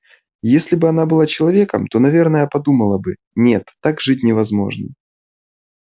если бы она была человеком то наверное подумала бы нет так жить невозможно